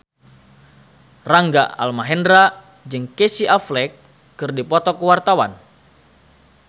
Rangga Almahendra jeung Casey Affleck keur dipoto ku wartawan